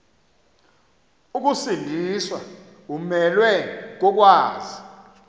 ukusindiswa umelwe kokwazi